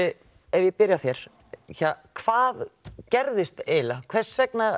ef ég byrja á þér hvað gerðist eiginlega hvers vegna